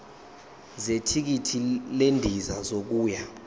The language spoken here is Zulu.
zethikithi lendiza yokuya